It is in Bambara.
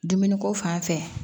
Dumuni ko fan fɛ